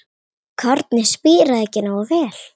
Kornið spíraði ekki nógu vel.